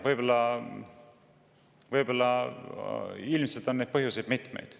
Ma ei tea, ilmselt on neid põhjuseid mitmeid.